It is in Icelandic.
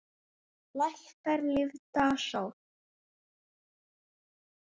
Lækkar lífdaga sól.